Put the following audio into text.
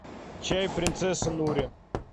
чай принцесса нури